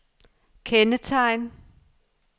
kendetegn